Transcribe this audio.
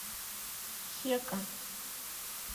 хека